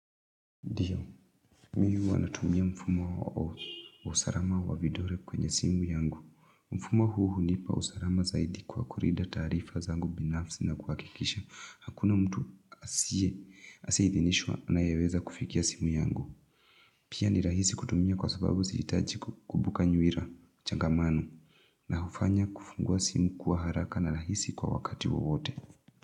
Ndiyo, mi huwa natumia mfumo wa usalama wa vidole kwenye simu yangu. Mfumo huu hunipa usalama zaidi kwa kulinda taarifa zangu binafsi na kuhakikisha. Hakuna mtu asiye, asiyeidhinishwa anayeweza kufikia simu yangu. Pia ni rahisi kutumia kwa sababu sihijitaji kukumbuka nyuira, changamano, na hufanya kufungua simu kuwa haraka na rahisi kwa wakati wowote.